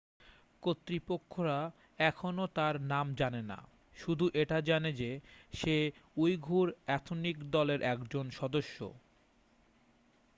কর্তৃপক্ষরা এখনও তার নাম জানে না শুধু এটা জানে যে সে উইঘুর এথনিক দলের একজন সদস্য